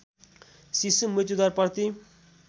शिशु मृत्युदर प्रति